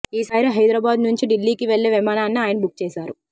ఈసారి హైదరాబాద్ నుంచి ఢిల్లీకి వెళ్లే విమానాన్ని ఆయన బుక్ చేశారు